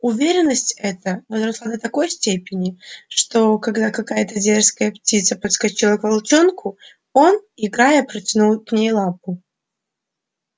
уверенность эта возросла до такой степени что когда какая-то дерзкая птица подскочила к волчонку он играя протянул к ней лапу